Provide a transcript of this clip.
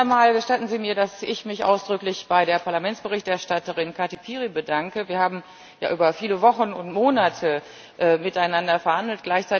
Zunächst einmal gestatten Sie mir, dass ich mich ausdrücklich bei der Parlamentsberichterstatterin Kati Piri bedanke Wir haben ja über viele Wochen und Monate miteinander verhandelt.